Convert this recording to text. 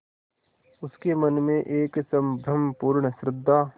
उसके मन में एक संभ्रमपूर्ण श्रद्धा